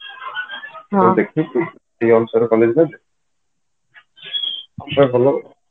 ଦେଖିବ ସେଇ ଅନୁସାରେ ଭଲ